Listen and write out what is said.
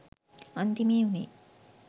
අන්තිමේ උනේ